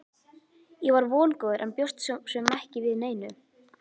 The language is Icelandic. Ég var vongóður en bjóst svo sem ekki við neinu.